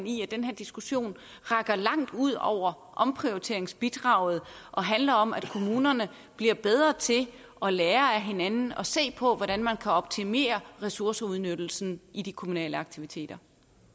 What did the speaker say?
i at den her diskussion rækker langt ud over omprioriteringsbidraget og handler om at kommunerne bliver bedre til at lære af hinanden og se på hvordan man kan optimere ressourceudnyttelsen i de kommunale aktiviteter